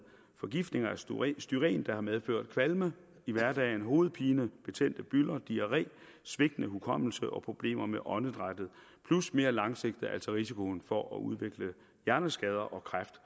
forgiftning af styren der har medført kvalme i hverdagen hovedpine betændte bylder diarré svigtende hukommelse og problemer med åndedrættet plus mere langsigtet altså risikoen for at udvikle hjerneskader og kræft